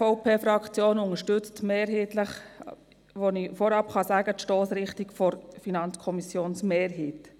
Die SVP-Fraktion unterstützt, wie ich vorab sagen kann, mehrheitlich die Stossrichtung der FiKo-Mehrheit.